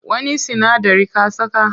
Wani sinadari ka saka?